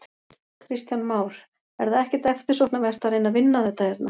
Kristján Már: Er það ekkert eftirsóknarvert að reyna að vinna þetta hérna?